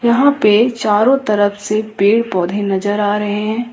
यहां पे चारों तरफ से पेड़ पौधे नजर आ रहे हैं।